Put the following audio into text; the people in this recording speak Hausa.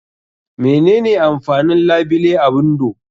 Mene ne amfanin labile a windo?